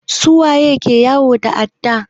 Su waye ke yawo da adda?